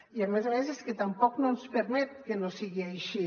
i a més a més és que tampoc no ens permet que no sigui així